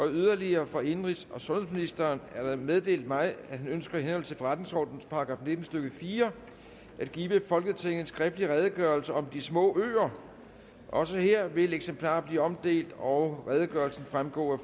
yderligere fra indenrigs og sundhedsministeren er der meddelt mig at han ønsker i henhold til forretningsordenens § nitten stykke fire at give folketinget en skriftlig redegørelse om de små øer også her vil eksemplarer blive omdelt og redegørelsen fremgå af